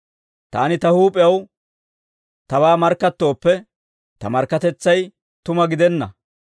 «Taani ta huup'ew tabaa markkattooppe, ta markkatetsay tuma gidenna.